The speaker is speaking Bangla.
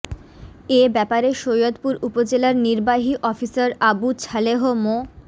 এ ব্যাপারে সৈয়দপুর উপজেলার নির্বাহী অফিসার আবু ছালেহ মো